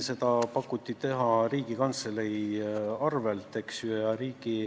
Seda pakuti teha Riigikantselei arvel.